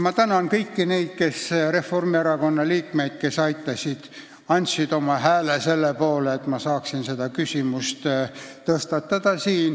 Ma tänan neid Reformierakonna liikmeid, kes majanduskomisjonis andsid oma hääle selle poolt, et ma saaksin selle küsimuse siin tõstatada.